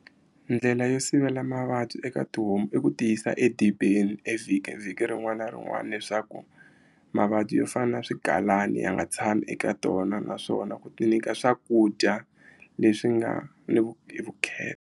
Ndlela yo sivela mavabyi eka tihomu i ku tiyisa edibeni evhikini vhiki rin'wana na rin'wana leswaku mavabyi yo fana na swigalani ya nga tshami eka tona naswona ku ti nyika swakudya leswi nga ni hi vukheta.